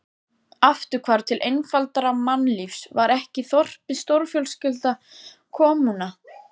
Afturhvarf til einfaldara mannlífs, var ekki þorpið stórfjölskylda, kommúna?